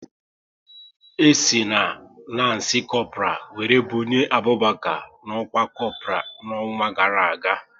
E si na lanci Kopral wéré bunye Abụbaka n'ọkwá Kopral n'ọnwa gara aga